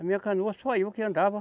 A minha canoa, só eu que andava.